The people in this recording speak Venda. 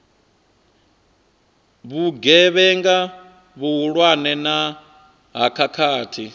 vhugevhenga vhuhulwane na ha khakhathi